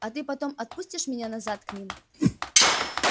а ты потом отпустишь меня назад к ним